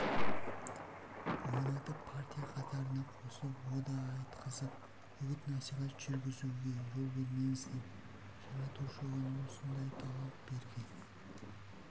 ойнатып партия қатарына қосып ода айтқызып үгіт-насихат жүргізуге жол бермеңіздер жаратушы оған осындай талант берген